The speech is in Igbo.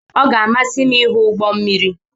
Ọ ga-amasị m ịhụ ụgbọ mmiri.